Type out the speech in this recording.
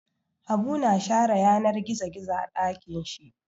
Habu na share yanar gizo gizo a ɗakin shi.